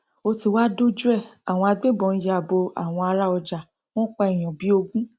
ó ti wáá dojú ẹ àwọn agbébọn ya bo àwọn ará ọjà wọn pa èèyàn bíi ogún